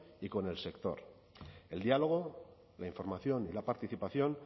y con el sector el diálogo la información y la participación